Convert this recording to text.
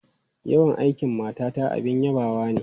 Yawan aikin matata abin yabawa ne.